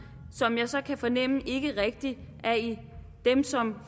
som jeg så kan fornemme ikke rigtig er dem som